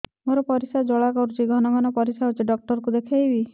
ମୋର ପରିଶ୍ରା ଜ୍ୱାଳା କରୁଛି ଘନ ଘନ ପରିଶ୍ରା ହେଉଛି ଡକ୍ଟର କୁ ଦେଖାଇବି